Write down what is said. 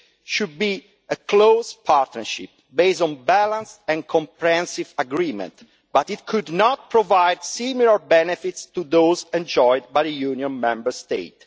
should be a close partnership, based on balanced and comprehensive agreement, but it cannot provide similar benefits to those enjoyed by the Union Member States.